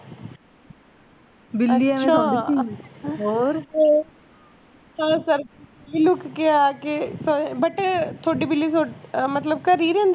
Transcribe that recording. ਮਤਲਬ ਇਹ ਲੁੱਕ ਕੇ ਆ ਕੇ but ਇਹ ਤੁਹਾਡੀ ਬਿੱਲੀ ਅਹ ਮਤਲਬ ਘਰੇ ਹੀ ਰਹਿੰਦੀ